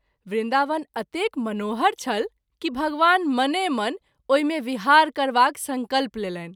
वृन्दावन अतेक मनोहर छल कि भगवान मने मन ओहि मे विहार करबाक संकल्प लेलनि।